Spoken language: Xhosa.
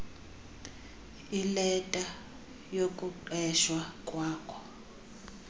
ileta yokuqeshwa kwakho